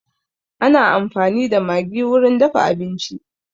Ana amfani da maggi wurin dafa abinci